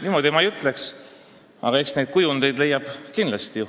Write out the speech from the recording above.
Niimoodi ma ei ütleks, aga eks neid kujundeid leiab teisigi.